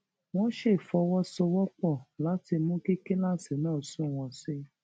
wón ṣe fọwó sowó pò láti mú kí kíláàsì náà sunwòn sí i